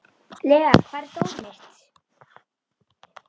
Lea, hvar er dótið mitt?